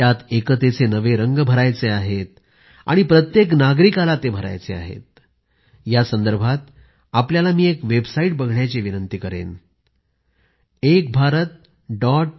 त्यात एकतेचे नवे रंग भरायचे आहेत आणि प्रत्येक नागरिकाला हे भरायचे आहेत यासंदर्भात मी आपल्याला एक वेबसाईट संस्थळ बघण्याची विनंती करेन ekbharat